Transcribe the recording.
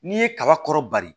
N'i ye kaba kɔrɔba de